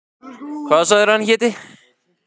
Hvað sagðirðu að hann héti?